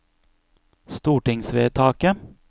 stortingsvedtaket